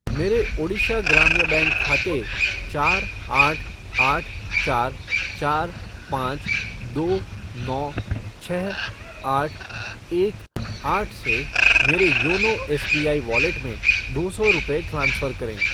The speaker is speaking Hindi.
मेरे ओडिशा ग्राम्य बैंक खाते चार आठ आठ चार चार पाँच दो नौ छः आठ एक आठ से मेरे योनो एसबीआई वॉलेट में दो सौ रुपये ट्रांसफ़र करें